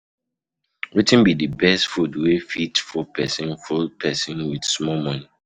Wetin be the best food wey fit full person full person wit small money?